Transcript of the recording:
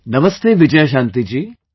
Namaste Vijayashanti ji